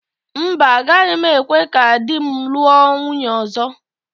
Mba, agaghị m ekwe ka di m lụọ nwunye ọzọ.